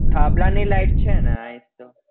થાંભલા ની light છે ને આ એક તો